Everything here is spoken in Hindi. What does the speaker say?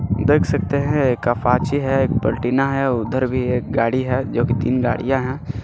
देख सकते हैं है पलटिना है उधर भी एक गाड़ी है जो की तीन गाड़ियां हैं.